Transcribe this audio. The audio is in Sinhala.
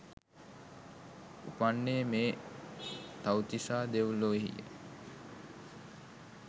උපන්නේ මේ තව්තිසා දෙව් ලොවෙහි ය.